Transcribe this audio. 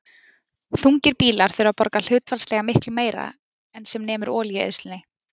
Þungir bílar þurfa þá að borga hlutfallslega miklu meira en sem nemur olíueyðslunni.